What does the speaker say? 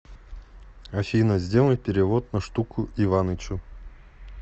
афина сделай перевод на штуку иванычу